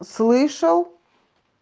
слышал